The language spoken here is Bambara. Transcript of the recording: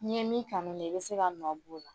N'i ye min kanu ne i bɛ se ka nɔ bɔ o la